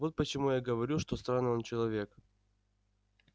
вот почему я говорю что странный он человек